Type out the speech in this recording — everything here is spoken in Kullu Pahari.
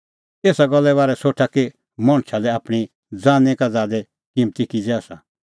एसा गल्ले बारै सोठा कि मणछा लै आपणीं ज़ानीं का ज़ादै किम्मती किज़ै आसा